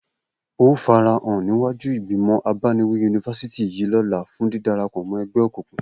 O óò farahàn níwájú ìgbìmọ̀ abániwí yunifásítì yìí lọ́la fún dídara pọ̀ mọ́ ẹgbẹ́ òkùnkùn!